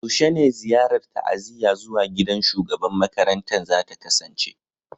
Yaushe ne ziyarar ta'aziyya zuwa gidan shugaban makarantan za ta kasance?